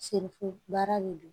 Senfi baara de don